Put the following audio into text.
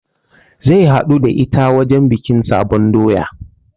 Zai haɗu da ita wajen bikin sabon doya